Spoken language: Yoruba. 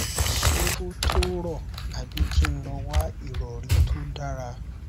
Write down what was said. ṣé ó tó rò àbí kí n lọ wá ìrọrí tó dára